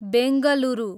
Bengaluru